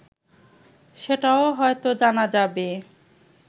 সেটাও হয়তো জানা যাবে